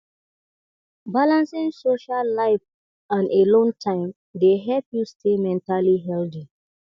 balancing social life and alone time dey help you stay mentally healthy